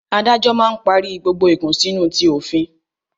Adájọ́ máa ń parí gbogbo ìkùnsínú ti òfin